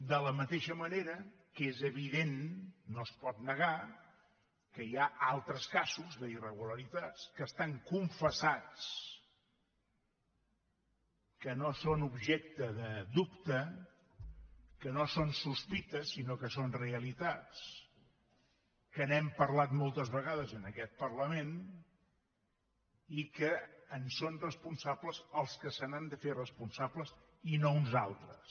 de la mateixa manera que és evident no es pot negar que hi ha altres casos d’irregularitats que estan confessats que no són objecte de dubte que no són sospites sinó que són realitats que n’hem parlat moltes vegades en aquest parlament i que en són responsables els que se n’han de fer responsables i no uns altres